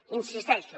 hi insisteixo